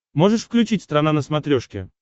можешь включить страна на смотрешке